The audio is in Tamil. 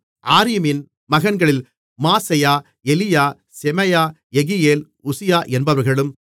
ஆரீமின் மகன்களில் மாசெயா எலியா செமாயா யெகியேல் உசியா என்பவர்களும்